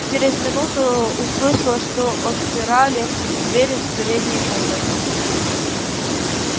чрез минуту услышала что отпирали дверь в передней комнате